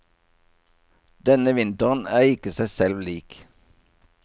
Denne vinteren er ikke seg selv lik.